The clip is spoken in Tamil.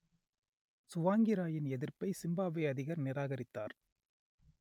சுவாங்கிராயின் எதிர்ப்பை சிம்பாப்வே அதிபர் நிராகரித்தார்